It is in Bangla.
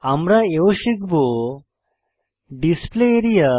আমরা এও শিখব ডিসপ্লে এরিয়া